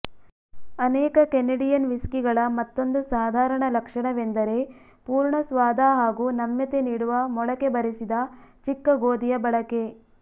ಅನೇಕ ಕೆನಡಿಯನ್ ವಿಸ್ಕಿಗಳ ಮತ್ತೊಂದು ಸಾಧಾರಣ ಲಕ್ಷಣವೆಂದರೆ ಪೂರ್ಣ ಸ್ವಾದ ಹಾಗೂ ನಮ್ಯತೆ ನೀಡುವ ಮೊಳಕೆ ಬರಿಸಿದ ಚಿಕ್ಕಗೋಧಿಯ ಬಳಕೆ